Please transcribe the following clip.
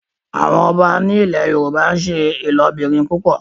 àwọn ọba ní ilè yorùbá n'se ilobirin púpọ.